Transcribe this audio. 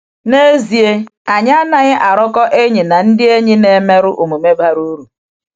N'ezie, um anyị anaghị arụkọ enyi um na ndị enyi ‘na-emerụ um omume bara uru.’